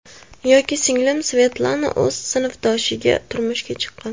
Yoki singlim Svetlana o‘z sinfdoshiga turmushga chiqqan.